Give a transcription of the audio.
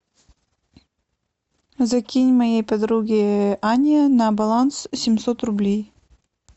закинь моей подруге ане на баланс семьсот рублей